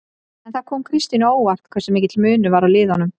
En kom það Kristínu á óvart hversu mikill munur var á liðunum?